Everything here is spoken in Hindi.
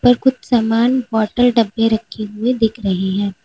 और कुछ समान बॉटल डब्बे रखे हुए दिख रहे हैं।